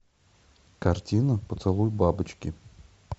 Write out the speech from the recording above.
картина поцелуй бабочки